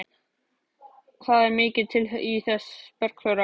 Það er mikið til í þessu, Bergþóra.